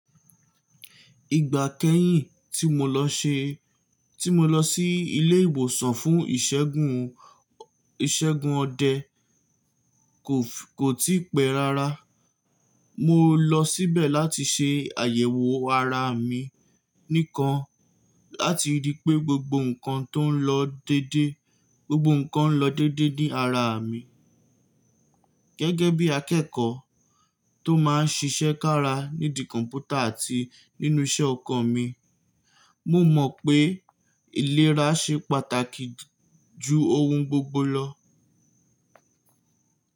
Ìgbà kẹ́yìn tí mo lọ ṣe, tí mo lọ sí ilé ìwòsàn fún ìṣẹ́gun, ìṣẹ́gun ọdẹ kò ti pẹ́ rárá. Mo lọ síbẹ̀ láti ṣe àyẹ̀wò ara mi nìkan láti rí i pé gbogbo nǹkan tó ń lọ dédé, gbogbo nǹkan ń lọ dédé ní ara mi. Gẹ́gẹ́ bí akẹ́kọ̀ọ́ tó máa ń ṣiṣẹ́ kára nídí kọ̀mpútà àti nínú isẹ́ ọkọ̀ mi, mo mọ̀ pé ìlera ṣe pàtàkì ju ohun gbogbo lọ.